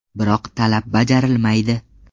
Biroq talab bajarilmaydi.